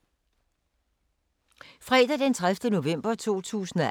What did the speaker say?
Fredag d. 30. november 2018